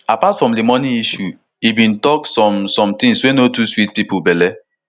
apart from di money issue e bin tok some some things wey no too sweet some pipo belle